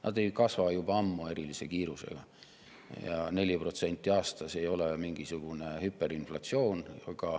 Need ei kasva juba ammu erilise kiirusega ja 4% aastas ei ole mingisugune hüperinflatsioon.